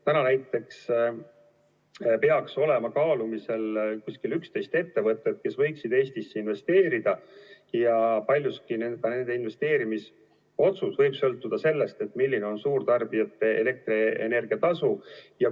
Praegu näiteks peaks olema kaalumisel umbes 11 ettevõtet, kes võiksid Eestisse investeerida, ja paljuski võib nende investeerimisotsus sõltuda sellest, milline on suurtarbijate elektrienergia tasu.